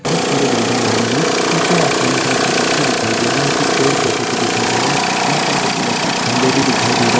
बहुत सारी बिल्डिंग बनी हुई है पीछे आसमान बहुत ही अच्छा दिखाई दे रहा है कुछ पेड़-पौधे भी दिखाई दे रहें हैं यहाँ पर कुछ इलेक्ट्रिक खंभे भी दिखाई दे रहा है।